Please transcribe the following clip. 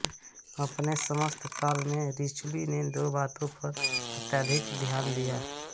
अपने समस्त काल में रिचलू ने दो बातों पर अत्यधिक ध्यान दिया